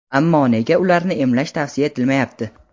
ammo nega ularni emlash tavsiya etilmayapti?.